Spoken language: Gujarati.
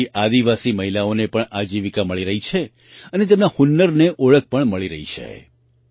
તેનાથી આદિવાસી મહિલાઓને પણ આજીવિકા મળી રહી છે અને તેમના હુનરને ઓળખ પણ મળી રહી છે